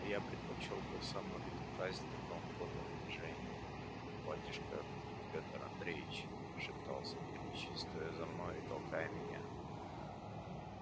но я предпочёл бы самую лютую казнь такому подлому унижению батюшка петр андреич шептал савельич стоя за мною и толкая меня